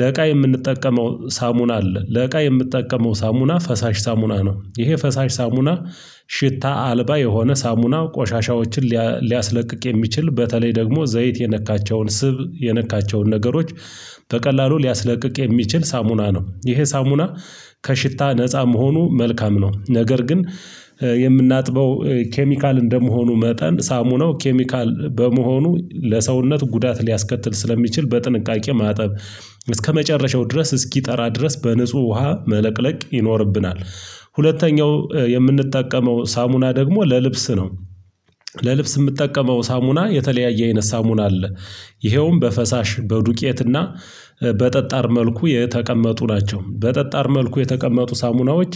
ለእቃ የምንጠቀመው ሳሙና አለ ለእቃ የምጠቀመው ሳሙና ፈሳሽ ሳሙና ነው። ይሄ ፈሳሽ ሳሙና ሽታ አልባ የሆነ ሳሙና ቆሻሻዎችን ሊያ ሊያስለቅቅ የሚችል በተለይ ደግሞ ዘይት የነካቸውን ስብ የነካቸውን ነገሮች በቀላሉ ሊያስለቅቅ የሚችል ሳሙና ነው። ይሄ ሳሙና ከሽታ ነፃ መሆኑ መልካም ነው። ነገር ግን የምናጥበው ኬሚካል እንደመሆኑ መጠን ሳሙናው ኬሚካል በመሆኑ ለሰውነት ጉዳት ሊያስከትል ስለሚችል በጥንቃቄ ማጠብ እስከመጨረሻው ድረስ እስኪጠራ ድረስ በንጹህ ውሃ መለቅለቅ ይኖርብናል። ሁለተኛው የምንጠቀመው ሳሙና ደግሞ ለልብስ ነው። ለልብስ የምጠቀመው ሳሙና የተለያየ አይነት ሳሙና አለ። ይኸውም በፈሳሽ በዱቄትና በጠጣር መልኩ የተቀመጡ ናቸው። በጠጣር መልኩ የተቀመጡ ሳሙናዎች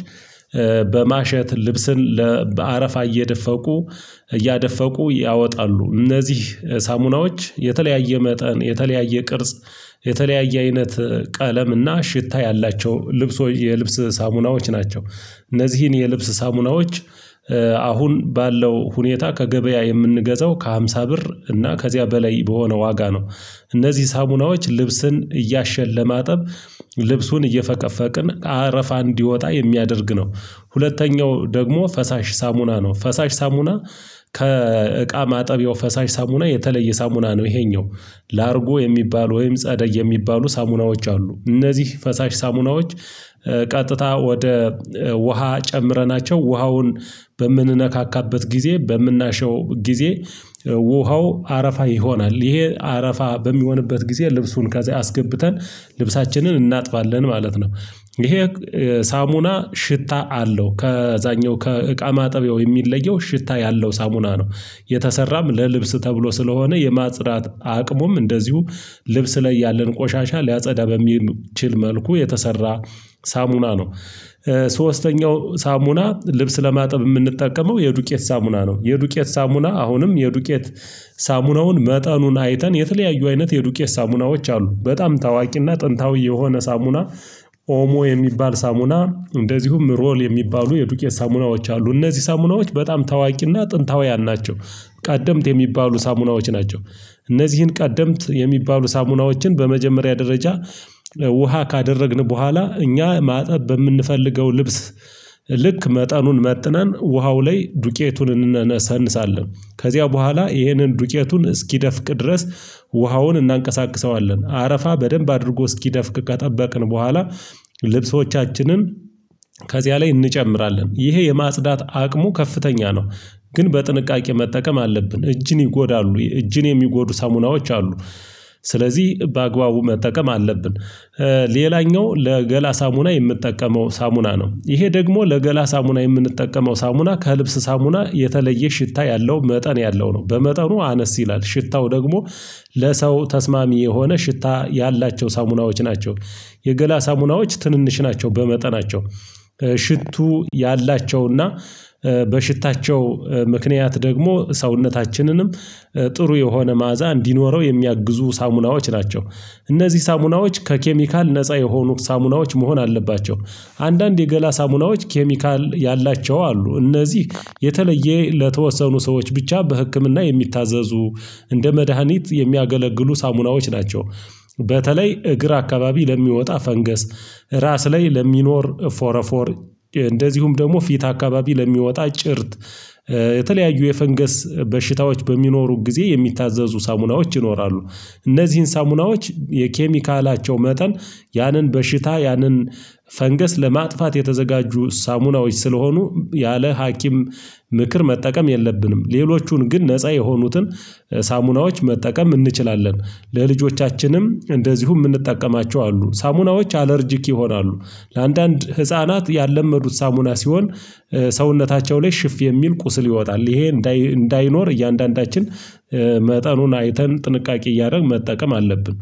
በማሸት ልብስን ለ በአረፋ እየደፈቁ እያደፈቁ ያወጣሉ። እነዚህ ሳሙናዎች የተለያየ መጠን የተለያየ ቅርጽ የተለያየ አይነት ቀለም እና ሽታ ያላቸው ልብሶ የልብስ ሳሙናዎች ናቸው። እነዚህን የልብስ ሳሙናዎች አሁን ባለው ሁኔታ ከገበያ የምንገዛው ከሃምሳ ብር እና ከዚያ በላይ በሆነ ዋጋ ነው። እነዚህ ሳሙናዎች ልብስን እያሸን ለማጠብ ልብሱን እየፈቀፈቅን አረፋ እንዲወጣ የሚያደርግ ነው። ሁለተኛው ደግሞ ፈሳሽ ሳሙና ነው። ፈሳሽ ሳሙና ከእቃ ማጠቢያው ፈሳሽ ሳሙና የተለየ ሳሙና ነው። ይሄኛው ላርጎ የሚባሉ ወይም ጸደይ የሚባሉ ሳሙናዎች አሉ። እነዚህ ፈሳሽ ሳሙናዎች ቀጥታ ወደ ውሃ ጨምረናቸው ውሃውን በምንነካካበት ጊዜ በምናሸው ጊዜ ውሃው አረፋ ይሆናል። ይሄ አረፋ በሚሆንበት ጊዜ ልብሱን ከዛ አስገብተን ልብሳችንን እናጥባለን ማለት ነው። ይሄ ሳሙና ሽታ አለው ከዛኛው ከእቃ ማጠቢያው የሚለየው ሽታ ያለው ሳሙና ነው። የተሰራም ለልብስ ተብሎ ስለሆነ የማጽዳት አቅሙም እንደዚሁ ልብስ ላይ ያለን ቆሻሻ ሊያጸዳ በሚችል መልኩ የተሰራ ሳሙና ነው። ሶስተኛው ሳሙና ልብስ ለማጠብ የምንጠቀመው የዱቄት ሳሙና ነው። የዱቄት ሳሙና አሁንም የዱቄት ሳሙናውን መጠኑን አይተን የተለያዩ አይነት የዱቄት ሳሙናዎች አሉ። በጣም ታዋቂና ጥንታዊ የሆነ ሳሙና ኦሞ የሚባል ሳሙና እንደዚሁም ሮል የሚባሉ የዱቄት ሳሙናዎች አሉ እነዚህ ሳሙናዎች በጣም ታዋቂና ጥንታውያን ናቸው። ቀደምት የሚባሉ ሳሙናዎች ናቸው። እነዚህን ቀደምት የሚባሉ ሳሙናዎችን በመጀመሪያ ደረጃ ውሃ ካደረግን በኋላ እኛ ማጠብ በምንፈልገው ልብስ ልክ መጠኑን መጥነን ውሃው ላይ ዱቄቱን እንነሰንሳለን። ከዚያ በኋላ ይህንን ዱቄቱን እስኪደፍቅ ድረስ ውሃውን እናንቀሳቅሰዋለን አረፋ በደንብ አድርጎ እስኪደፍቅ ከጠበቅን በኋላ ልብሶቻችንን ከዚያ ላይ እንጨምራለን ይሄ የማጽዳት አቅሙ ከፍተኛ ነው። ግን በጥንቃቄ መጠቀም አለብን እጅን ይጎዳሉ እጅን የሚጎዱ ሳሙናዎች አሉ። ስለዚህ በአግባቡ መጠቀም አለብን። ሌላኛው ለገላ ሳሙና የምንጠቀመው ሳሙና ነው። ይሄ ደግሞ ለገላ ሳሙና የምንጠቀመው ሳሙና ከልብስ ሳሙና የተለየ ሽታ ያለው መጠን ያለው ነው። በመጠኑ አነስ ይላል ሽታው ደግሞ ለሰው ተስማሚ የሆነ ሽታ ያላቸው ሳሙናዎች ናቸው። የገላ ሳሙናዎች ትንንሽ ናቸው በመጠናቸው ሽቱ ያላቸውና በሽታቸው ምክንያት ደግሞ ሰውነታችንንም ጥሩ የሆነ መዓዛ እንዲኖረው የሚያግዙ ሳሙናዎች ናቸው። እነዚህ ሳሙናዎች ከኬሚካል ነፃ የሆኑ ሳሙናዎች መሆን አለባቸው። አንዳንድ የገላ ሳሙናዎች ኬሚካል ያላቸው አሉ። እነዚህ የተለየ ለተወሰኑ ሰዎች ብቻ በህክምና የሚታዘዙ እንደ መድሃኒት የሚያገለግሉ ሳሙናዎች ናቸው። በተለይ እግር አካባቢ ለሚወጣ ፈንገስ ራስ ላይ ለሚኖር ፎረፎር እንደዚሁም ደግሞ ፊት አካባቢ ለሚወጣ ጭርት የተለያዩ የፈንገስ በሽታዎች በሚኖሩ ጊዜ የሚታዘዙ ሳሙናዎች ይኖራሉ። እነዚህን ሳሙናዎች የኬሚካላቸው መጠን ያንን በሽታ ያንን ፈንገስ ለማጥፋት የተዘጋጁ ሳሙናዎች ስለሆኑ ያለ ሀኪም ምክር መጠቀም የለብንም። ሌሎቹን ግን ነፃ የሆኑትን ሳሙናዎች መጠቀም እንችላለን። ለልጆቻችንም እንደዚሁም ምንጠቀማቸው አሉ ሳሙናዎች አለርጅክ ይሆናሉ። ለአንዳንድ ህፃናት ያለመዱት ሳሙና ሲሆን ሰውነታቸው ላይ ሽፍ የሚል ቁስል ይወጣል ይሄ እንዳይ እንዳይኖር እያንዳንዳችን መጠኑን አይተን ጥንቃቄ እያደረግን መጠቀም አለብን